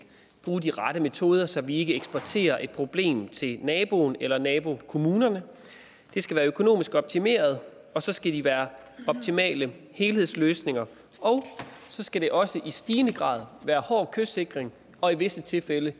bruge de rette metoder så vi ikke eksporterer et problem til naboen eller nabokommunerne det skal være økonomisk optimeret og så skal det være optimale helhedsløsninger og så skal det også i stigende grad være hård kystsikring og i visse tilfælde